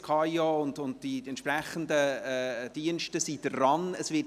Das Amt für Informatik und Organisation (KAIO) und die entsprechenden Dienste sind an der Arbeit.